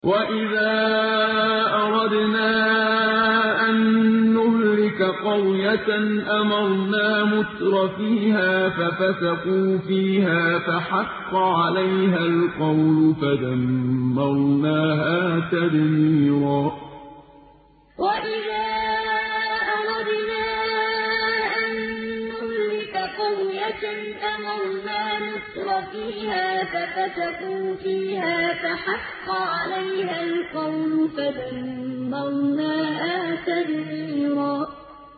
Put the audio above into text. وَإِذَا أَرَدْنَا أَن نُّهْلِكَ قَرْيَةً أَمَرْنَا مُتْرَفِيهَا فَفَسَقُوا فِيهَا فَحَقَّ عَلَيْهَا الْقَوْلُ فَدَمَّرْنَاهَا تَدْمِيرًا وَإِذَا أَرَدْنَا أَن نُّهْلِكَ قَرْيَةً أَمَرْنَا مُتْرَفِيهَا فَفَسَقُوا فِيهَا فَحَقَّ عَلَيْهَا الْقَوْلُ فَدَمَّرْنَاهَا تَدْمِيرًا